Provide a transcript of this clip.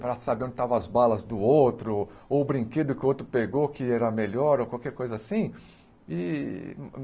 Para saber onde estavam as balas do outro, ou o brinquedo que o outro pegou, que era melhor, ou qualquer coisa assim e.